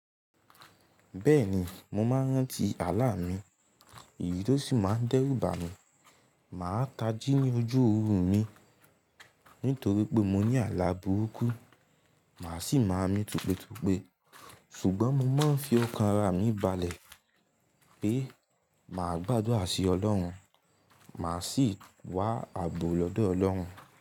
Bẹ́ẹ̀ni mo máa ń rántí àlá mi, ìrírí tó sì máa ń dẹ́rù bà mí. Mà á tají ní ojú oorun mi nítorí pé mo ní àlá burúkú, mà á sì máa mí tutùpe. Ṣùgbọ́n mo máa ń fi ọkàn ara mi balẹ̀ pé mà á gbàdúrà sí ọlọ́run, mà á sì wá ààbò lọ́dọ̀ ọlọ́run.